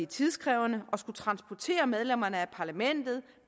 tidkrævende at skulle transportere medlemmerne af europa parlamentet